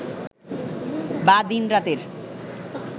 বা দিন রাতের